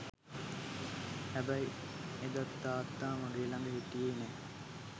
හැබැයි එදත් තාත්තා මගේ ලග හිටියෙ නෑ.